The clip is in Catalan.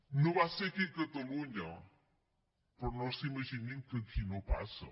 no va ser aquí a catalunya però no s’imaginin que aquí no passa